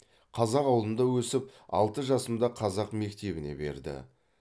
қазақ ауылында өсіп алты жасымда қазақ мектебіне берді